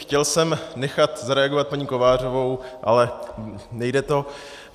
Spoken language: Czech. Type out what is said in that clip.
Chtěl jsem nechat zareagovat paní Kovářovou, ale nejde to.